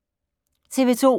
TV 2